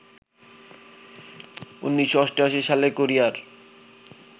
১৯৮৮ সালে কোরিয়ার